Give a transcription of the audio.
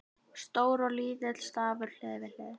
Stór og lítill stafur hlið við hlið.